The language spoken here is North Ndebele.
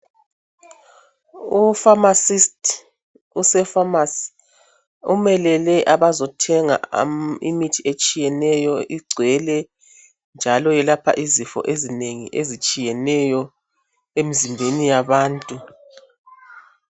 Ufamasiti usefamasi umelele abazothenga imithi etshiyeneyo, igcwele njalo yelapha izifo ezinengi ezitshiyeneyo emzimbeni yabantu.